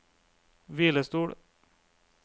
hvilestol